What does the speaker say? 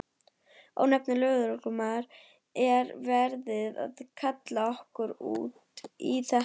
Ónefndur lögreglumaður: Er verið að kalla okkur út í þetta?